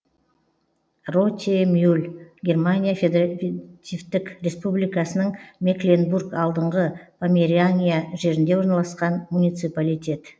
ротемюль германия федеративтік республикасының мекленбург алдыңғы померания жерінде орналасқан муниципалитет